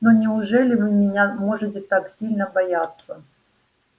но неужели вы меня можете так сильно бояться